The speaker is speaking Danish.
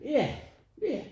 Ja ja